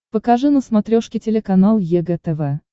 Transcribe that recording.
покажи на смотрешке телеканал егэ тв